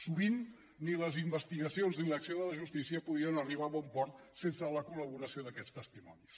sovint ni les investigacions ni l’acció de la justícia podien arribar a bon port sense la collaboració d’aquests testimonis